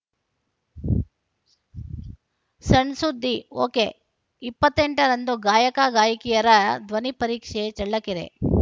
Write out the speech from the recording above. ಸಣ್‌ ಸುದ್ದಿ ಒಕೆ ಇಪ್ಪತ್ತ್ ಎಂಟ ರಂದು ಗಾಯಕಗಾಯಕಿಯರ ಧ್ವನಿ ಪರೀಕ್ಷೆ ಚಳ್ಳಕೆರೆ